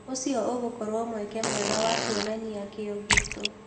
ũcio ũgũkorwo mweke mwega wa kuonania kĩo gitũ